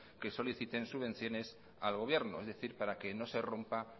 que soliciten subvenciones al gobierno es decir para que no se rompa